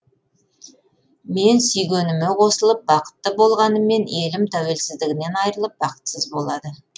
мен сүйгеніме қосылып бақытты болғаныммен елім тәуелсіздігінен айырылып бақытсыз болады